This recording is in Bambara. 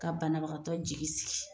Ka banabagatɔ jigi sigi,